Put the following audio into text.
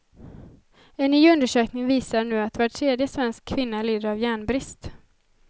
En ny undersökning visar nu att var tredje svensk kvinna lider av järnbrist.